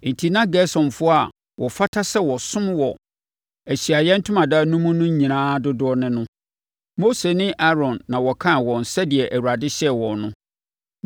Enti na Gersonfoɔ a wɔfata sɛ wɔsom wɔ Ahyiaeɛ Ntomadan no mu no nyinaa dodoɔ ne no. Mose ne Aaron na wɔkan wɔn sɛdeɛ Awurade hyɛɛ wɔn no.